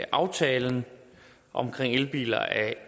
aftalen om elbiler af